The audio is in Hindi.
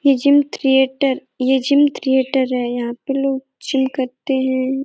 ये जिम थ्रीएटर ये जिम थ्रीएटर है। यहाँ पे लोग जिम करते हैं।